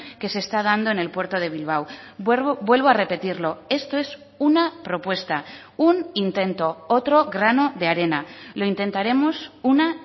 que se está dando en el puerto de bilbao vuelvo a repetirlo esto es una propuesta un intento otro grano de arena lo intentaremos una